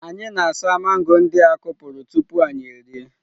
Anyị na-asa mango ndị a kụpụrụ tupu anyị erie.